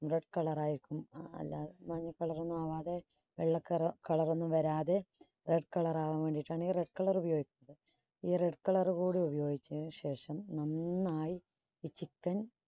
red colour ആയിരിക്കും അല്ല മഞ്ഞ colour ഒന്നും ആവാതെ വെള്ള കറ~ colour ാന്നും വരാതെ red colour ആവാൻ വേണ്ടിയിട്ടാണ് ഈ red colour ഉപയോഗിക്കുന്നത്. ഈ red colour കൂടി ഉപയോഗിച്ചതിന് ശേഷം നന്നായി ഈ chicken